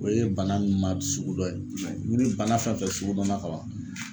O ye bana min ma sugu dɔ ye ni bana fɛn fɛn sugu dɔnna ka ban